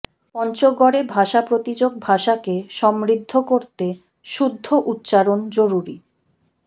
পঞ্চগড়ে ভাষা প্রতিযোগ ভাষাকে সমৃদ্ধ করতে শুদ্ধ উচ্চারণ জরুরি